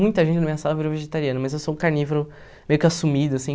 Muita gente na minha sala virou vegetariano, mas eu sou um carnívoro meio que assumido, assim.